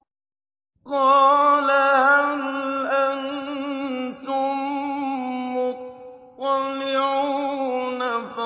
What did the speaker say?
قَالَ هَلْ أَنتُم مُّطَّلِعُونَ